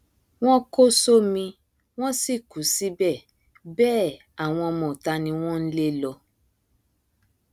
wọn kò sómi wọn sì kú síbẹ bẹẹ àwọn ọmọọta ni wọn ń lé lọ